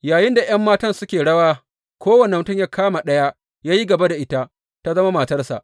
Yayinda ’yan matan suke rawa, kowane mutum ya kama ɗaya ya yi gaba da ita ta zama matarsa.